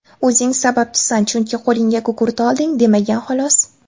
O‘zing sababchisan, chunki qo‘lingga gugurt olding, demagan xolos.